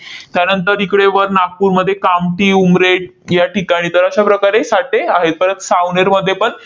त्यानंतर तिकडे वर नागपूरमध्ये कामठी, उमरेठ याठिकाणी तर अशा प्रकारे साठे आहेत. परत सावनेरमध्ये पण